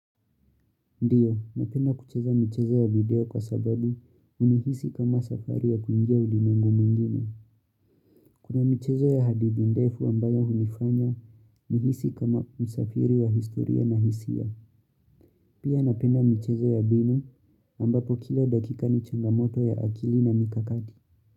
Ndiyo, napenda kucheza michezo ya video kwa sababu hunihisi kama safari ya kuingia ulimwengu mwingine. Kuna michezo ya hadithi ndefu ambayo hunifanya, nihisi kama msafiri wa historia na hisia. Pia napenda michezo ya binu ambapo kila dakika ni changamoto ya akili na mikakati.